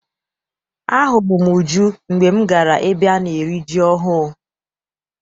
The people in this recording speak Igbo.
Ahụrụ m Uju mgbe m gara ebe ana eri ji ọhụụ.